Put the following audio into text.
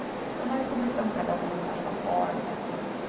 Então, nós começamos cada um a limpar a sua porta.